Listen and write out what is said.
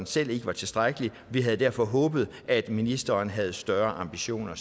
selv ikke var tilstrækkelige vi havde derfor håbet at ministeren havde større ambitioner